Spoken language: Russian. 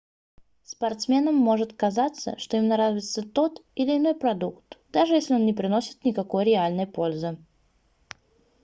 спортсменам может казаться что им нравится тот или иной продукт даже если он не приносит никакой реальной пользы